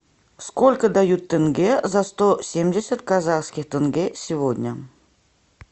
сколько дают тенге за сто семьдесят казахских тенге сегодня